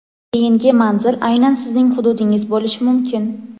keyingi manzil aynan sizning hududingiz bo‘lishi mumkin!.